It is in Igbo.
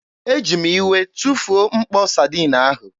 Eji m iwe tụfuo mkpo Sadiin ahụ.